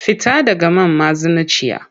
Fita daga man mazinaciya!